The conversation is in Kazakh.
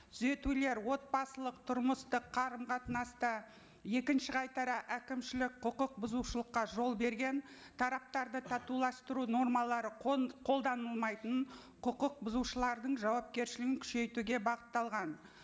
түзетулер отбасылық тұрмыстық қарым қатынасты екінші қайтара әкімшілік құқық бұзушылыққа жол берген тараптарды татуластыру нормалары қолданылмайтынын құқық бұзушылардың жауапкершілігін күшейтуге бағытталған